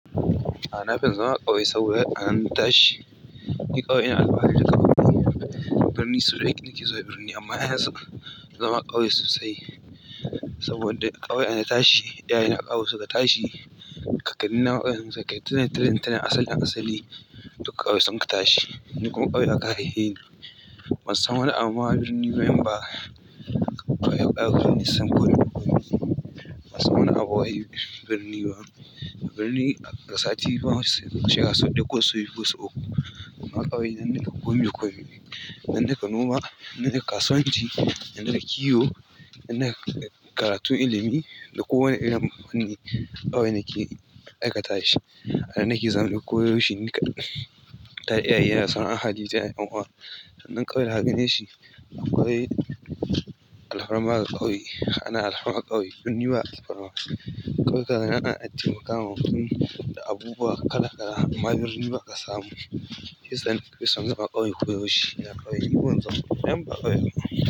A nafin zama a ƙauye saboda ana tashi, yi ƙauye ina alfahari da ƙauye. Birni so da nake nake zuwa birni amma yana zama a ƙauye sosai saboda ƙauye ana tashi, iyaye na ƙauye suka tashi. Kakanni na ƙauyen su, kaitannai, tattalin asalin asali duk ƙauye sun ka tashi. Ni kuma ƙauye aka haife ni. Ban san wani abu a birni ba, amma ƙauyen sun koyar min birni. Ban samu abu wai birni ba. Birni daga sati biyu masu shekaru sau ɗaya ko sau biyu ko sau uku. Amma ƙauye na nuna komi komi ne, na nuna noma, na nuna kasuwanci, na nuna kiwo, na nuna karatun ilimi da kowane irin wani ƙauye nake aikata shi. Ina nake zama koyaushe nika tare da iyaye na, sana'a, hali, jini, yanawa. Nan ƙauye na hage ne shi. Ƙauye alfarma da ƙauye, ana alfarma ƙauye, birni ba alfarma. Ƙauye ka ga yana addinin ka, mafi sun da abubuwa kala kala amma birni ba a samu. Siyasa ne, kisa gaba ƙauye koyaushe. Da ƙauye ki bunzo, yamma ƙauye ana.